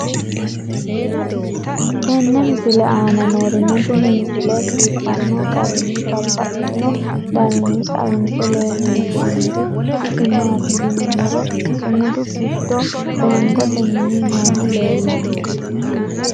tenne misile aana noorina tini misile biiffanno garinni babaxxinno daniinni xawisse leelishanori isi maati yinummoro sumudu giddo fengotte minni noohu leelanno.